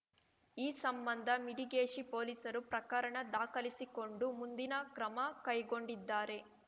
ಈ ಸಂಬಂಧ ಮಿಡಿಗೇಶಿ ಪೋಲಿಸರು ಪ್ರಕರಣ ದಾಖಲಿಸಿಕೊಂಡು ಮುಂದಿನ ಕ್ರಮ ಕೈಗೊಂಡಿದ್ದಾರೆ